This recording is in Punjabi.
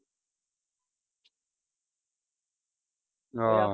ਆਹ